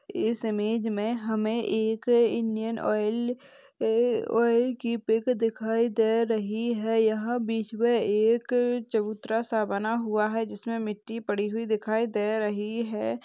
इस इमेज मे हमे एक इंडियन ऑइल अ-अ-ऑइल की पिक दिखाई दे रही है यहां बीच मे एक चबूतरा सा बना हुआ है जिसमे मिट्टी पड़ी हुई दिखाई दे रही है।